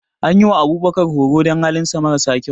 An yi wa Abubakar horo don halinsa mara sa kyau.